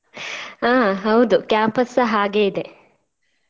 ಹಾ ಹೌದು campus ಸ ಹಾಗೆ ಇದೆ.